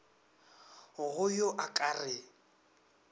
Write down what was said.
go yo a ka re